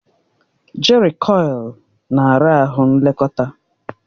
Jerịkọil na ara ahụ nlekọta.